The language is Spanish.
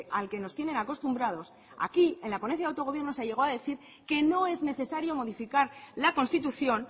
al que nos tienen acostumbrados aquí en la ponencia de autogobierno se llegó a decir que no es necesario modificar la constitución